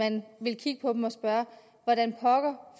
at man vil kigge på dem og spørge hvordan pokker